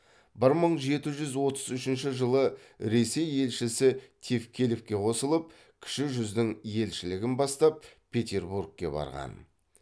бір мың жеті жүз отыз үшінші жылы ресей елшісі тевкелевке қосылып кіші жүздің елшілігін бастап петербургке барған